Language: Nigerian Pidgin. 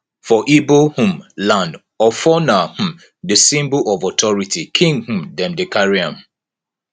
for ibo um land ofo na um di symbol of authority king um dem dey carry am